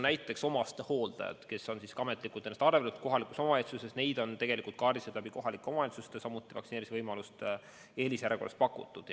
Näiteks omastehooldajad, kes on ametlikult ennast arvele võtnud kohalikus omavalitsuses, on kaardistatud kohalike omavalitsuste kaudu ja neile on samuti vaktsineerimisvõimalust eelisjärjekorras pakutud.